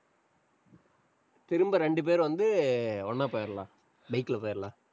திரும்ப ரெண்டு பேர் வந்து, ஒண்ணா போயிரலாம். bike ல போயிரலாம்.